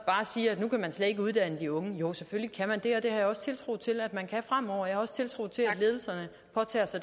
bare siger at nu kan man slet ikke uddanne de unge jo selvfølgelig kan man det og det har jeg også tiltro til at man kan fremover jeg har også tiltro til at ledelserne påtager sig